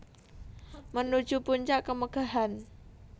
Menuju Puncak Kemegahan